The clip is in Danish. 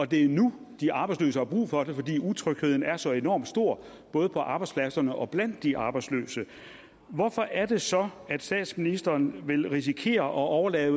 det er nu de arbejdsløse har brug for det fordi utrygheden er så enormt stor både på arbejdspladserne og blandt de arbejdsløse hvorfor er det så at statsministeren vil risikere at overlade